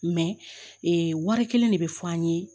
ee wari kelen de bɛ fɔ an ye